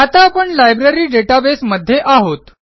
आता आपण लायब्ररी databaseमध्ये आहोत